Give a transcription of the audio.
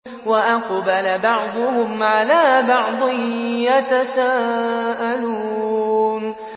وَأَقْبَلَ بَعْضُهُمْ عَلَىٰ بَعْضٍ يَتَسَاءَلُونَ